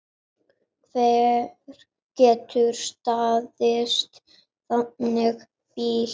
Hver getur staðist þannig bíl?